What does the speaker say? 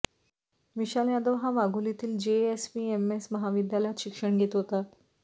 विशाल यादव हा वाघोलीतील जेएसपीएमएस महाविद्यालयात शिक्षण घेत होता